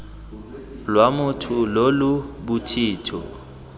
lwa motho lo lo bothito